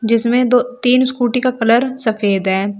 जिसमें दो तीन स्कूटी का कलर सफेद है।